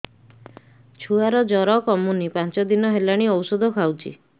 ଛୁଆ ଜର କମୁନି ପାଞ୍ଚ ଦିନ ହେଲାଣି ଔଷଧ ଖାଉଛି